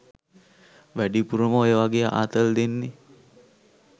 වැඩිපුරම ඔය වගේ ආතල් දෙන්නේ